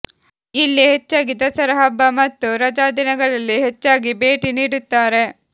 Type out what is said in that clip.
ಇಲ್ಲಿ ಹೆಚ್ಚಾಗಿ ದಸರಾ ಹಬ್ಬ ಮತ್ತು ರಜಾದಿನಗಳಲ್ಲಿ ಹೆಚ್ಚಾಗಿ ಭೇಟಿ ನೀಡುತ್ತಾರೆ